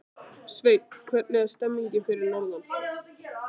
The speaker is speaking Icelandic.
Sveinn, hvernig er stemningin fyrir norðan?